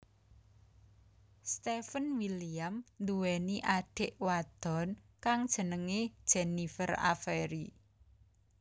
Steven William nduweni adhik wadon kang jenenge Jennifer Avery